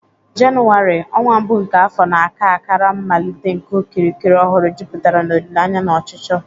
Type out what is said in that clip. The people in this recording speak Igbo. Jenụwarị, ọnwa mbụ nke afọ, na-aka akara mmalite nke okirikiri ọhụrụ, jupụtara n'olileanya na ọchịchọ